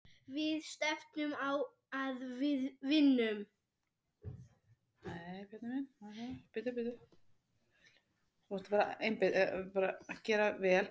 Við stefnum á að vinna.